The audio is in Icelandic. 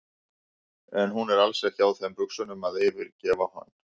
En hún er alls ekki á þeim buxunum að fyrirgefa honum.